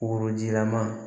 Worojilama